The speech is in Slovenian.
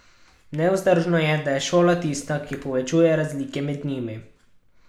Nevzdržno je, da je šola tista, ki povečuje razlike med njimi.